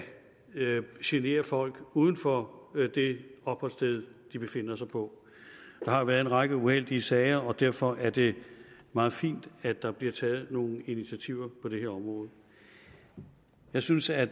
genere folk uden for det opholdssted de befinder sig på der har været en række uheldige sager og derfor er det meget fint at der bliver taget nogle initiativer på det her område jeg synes at